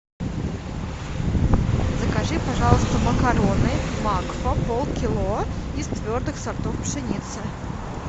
закажи пожалуйста макароны макфа пол кило из твердых сортов пшеницы